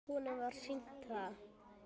Honum var sýnt það.